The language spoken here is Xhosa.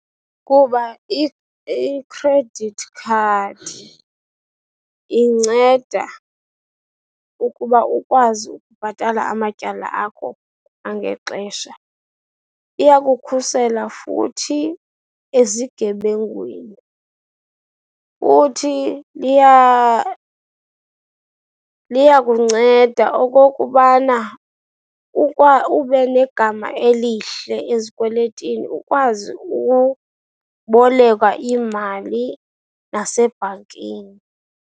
Kuba ikhredithi khadi inceda ukuba ukwazi ukubhatala amatyala akho kwangexesha. Iyakukhusela futhi ezigebengwini, futhi liyakunceda okokubana ube negama elihle ezikweletini, ukwazi ubolekwa iimali nasebhankini.